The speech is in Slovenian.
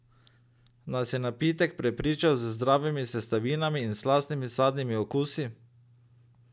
Nas je napitek prepričal z zdravimi sestavinami in slastnimi sadnimi okusi!